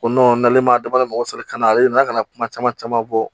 O n'ale ma dabɔ a kama mɔgɔ sɔrɔ ka na ale nana ka na kuma caman caman fɔ